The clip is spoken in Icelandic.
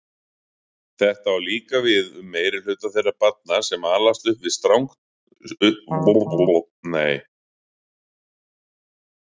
Þetta á líka við um meirihluta þeirra barna sem alast upp sem strangtrúaðir gyðingar.